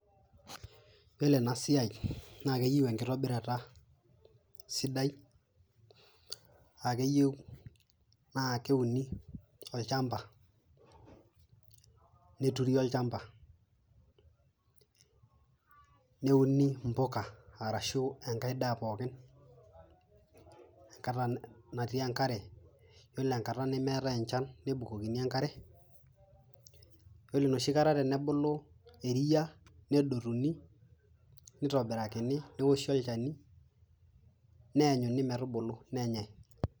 Yiolo ena siai, naa keyou enkitobirata sidai, akeyiou naa keuni olchamba, neturi olchamba neuni mbuka arashu enkae daa pookin enkata naati enkare, ore enkata nemeetae enchan nebukokini enkare yiolo enoshi kata tenebulu eria, nedotuni, nitoburakini neoshi olchani, neanyuni metubulu nenyae.